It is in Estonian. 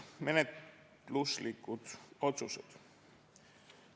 Menetluslikud otsused.